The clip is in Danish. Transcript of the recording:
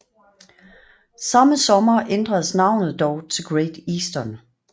Samme sommer ændredes navnet dog til Great Eastern